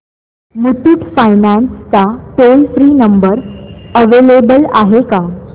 Muthoot Finance चा toll free number available आहे का